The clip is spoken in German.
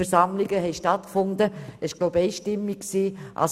Diese Fusion wurde einstimmig angenommen.